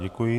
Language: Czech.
Děkuji.